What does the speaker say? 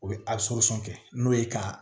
U bɛ kɛ n'o ye ka